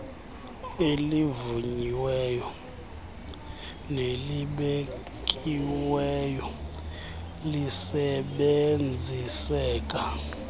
elivunyiweyo nelibekiweyo lisebenziseka